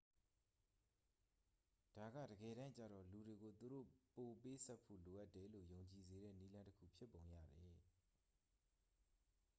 ဒါကတကယ်တမ်းကျတော့ လူတွေကို သူတို့ပိုပေးဆပ်ဖို့ လိုအပ်တယ်လို့ ယုံကြည်စေတဲ့ နည်းလမ်းတစ်ခု ဖြစ်ပုံရတယ်